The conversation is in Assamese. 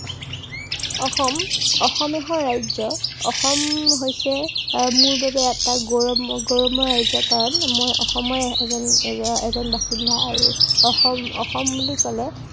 অসম, অসম এখন ৰাজ্য়। অসম হৈছে আহ মোৰ বাবে এটা গৌৰৱময়, গৌৰৱময় ৰাজ্য়। কাৰন মই অসমৰে এজন, এজন বাসিন্দা আৰু অসম অসম বুলি কলে